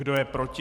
Kdo je proti?